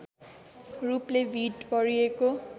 रूपले भीड भरिएको